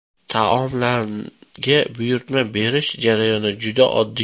Taomlarga buyurtma berish jarayoni juda oddiy.